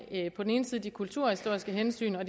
på den ene side de kulturhistoriske hensyn og